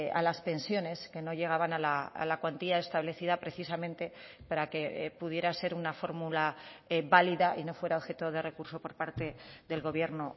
a las pensiones que no llegaban a la cuantía establecida precisamente para que pudiera ser una fórmula válida y no fuera objeto de recurso por parte del gobierno